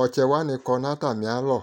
ɔtsɛwani kɔ nu atamialɔ